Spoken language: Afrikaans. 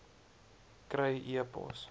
kry e pos